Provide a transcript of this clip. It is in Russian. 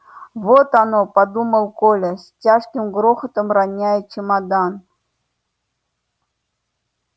вот оно подумал коля с тяжким грохотом роняя чемодан